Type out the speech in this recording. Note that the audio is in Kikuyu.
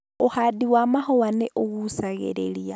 Ũhandi wa mahũa nĩ ũgucagĩrĩria